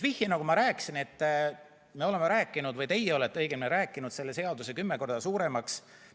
Nagu ma ütlesin, et me oleme rääkinud – või õigemini teie olete rääkinud – selle seaduse kümme korda suuremaks.